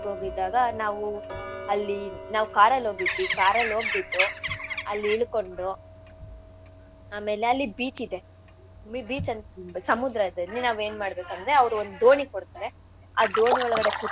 ಹೋಗಿದ್ದಾಗ ನಾವು ಅಲ್ಲಿ ನಾವ್ car ಅಲ್ ಹೋಗಿದ್ವಿ. car ಅಲ್ ಹೋಗ್ಬಿಟ್ಟು ಅಲ್ ಇಳ್ಕೊಂಡು ಆಮೇಲ್ ಅಲ್ಲಿ beach ಇದೆ ಬಿ~ beach ಅಂತ್ ಸಮುದ್ರ ಇದೇ ಅಲ್ಲಿ ನಾವ್ ಏನ್ ಮಾಡ್ಬೇಕಂದ್ರೆ ಅವ್ರ್ ಒಂದ್ ದೋಣಿ ಕೊಡ್ತಾರೆ ಆ ದೋಣಿ ಒಳಗಡೆ.